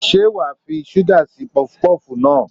Ṣé wàá fi ṣúgà sí pọfupọ́fù náà?